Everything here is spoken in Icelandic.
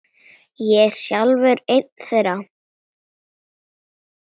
Ég er sjálfur einn þeirra.